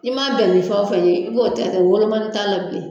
I ma bɛn ni fɛn wo fɛn ye, i b'o kɛ de ,wolomani t'a la bilen.